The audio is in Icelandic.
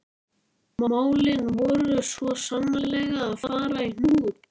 Sérðu ekki heiðríkjuna í henni og geislandi hlýjuna?